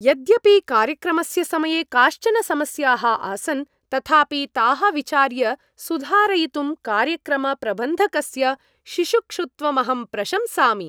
यद्यपि कार्यक्रमस्य समये काश्चन समस्याः आसन्, तथापि ताः विचार्य सुधारयितुं कार्यक्रमप्रबन्धकस्य शिशुक्षुत्वमहं प्रशंसामि।